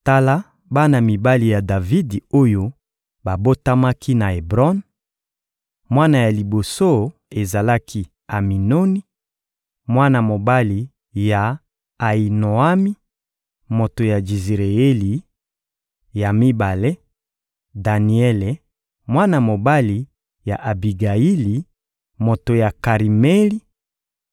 Tala bana mibali ya Davidi oyo babotamaki na Ebron: Mwana ya liboso ezalaki Aminoni, mwana mobali ya Ayinoami, moto ya Jizireyeli; ya mibale, Daniele, mwana mobali ya Abigayili, moto ya Karimeli;